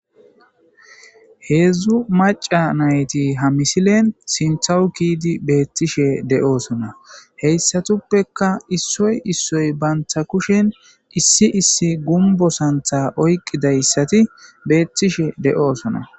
Heedzdzu maca nayti ha misilen sinthawu kiidi beettishe de7oosona heyssatuppeka issoy issoy banta kushen issi issi gumbo santha oyqqidayssati beettishe de7oosona